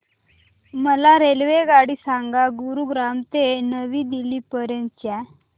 मला रेल्वेगाडी सांगा गुरुग्राम ते नवी दिल्ली पर्यंत च्या